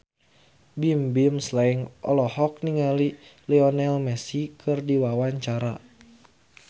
Bimbim Slank olohok ningali Lionel Messi keur diwawancara